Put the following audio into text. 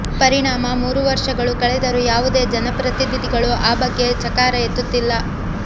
ಪರಿಣಾಮ ಮೂರು ವರ್ಷಗಳು ಕಳೆದರೂ ಯಾವುದೇ ಜನಪ್ರತಿನಿಧಿಗಳು ಆ ಬಗ್ಗೆ ಚಕಾರ ಎತ್ತುತ್ತಿಲ್ಲ